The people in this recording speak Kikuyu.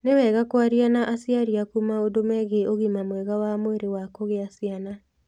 Nĩ wega kwaria na aciari aku maũndũ megiĩ ũgima mwega wa mwĩrĩ wa kũgĩa ciana.